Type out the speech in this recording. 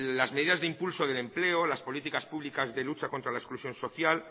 las medidas de impulso del empleo las políticas públicas de lucha contra la exclusión social